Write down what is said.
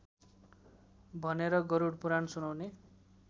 भनेर गरुडपुराण सुनाउने